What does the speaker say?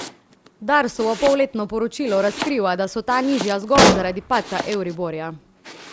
Darsovo polletno poročilo razkriva, da so ta nižja zgolj zaradi padca euriborja.